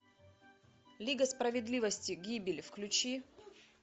лига справедливости гибель включи